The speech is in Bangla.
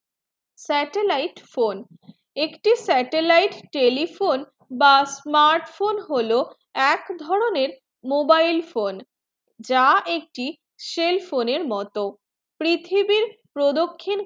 satellite phone একটি satellite telephone বা smart phone হলো এক ধরণে mobile phone যা একটি cell phone এর মতো পৃথিবী প্রদক্ষিণ